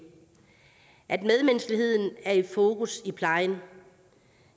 at medmenneskeligheden er i fokus i plejen